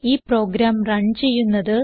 ഈ program run ചെയ്യുന്നത്